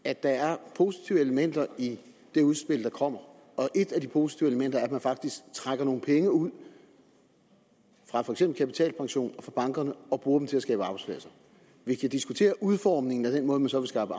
at der er positive elementer i det udspil der kommer og et af de positive elementer er at man faktisk trækker nogle penge ud fra for eksempel kapitalpension og fra bankerne og bruger dem til at skabe arbejdspladser vi kan diskutere udformningen af den måde man så vil skaffe